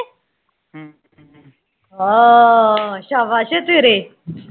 ਹਾਅ ਸ਼ਾਬਸ਼ ਉਹ ਤੇਰੇ